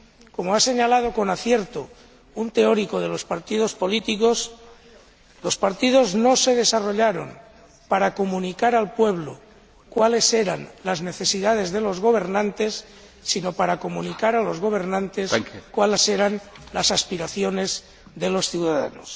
Como ha señalado, con acierto, un teórico de los partidos políticos, los partidos no se desarrollaron para comunicar al pueblo cuáles eran las necesidades de los gobernantes, sino para comunicar a los gobernantes cuáles eran las aspiraciones de los ciudadanos.